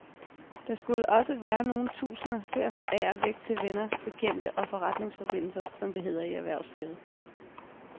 Der skulle også være nogle tusinder til at forære væk til venner, bekendte og forretningsforbindelser, som det hedder i erhvervslivet.